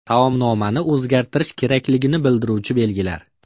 Taomnomani o‘zgartirish kerakligini bildiruvchi belgilar.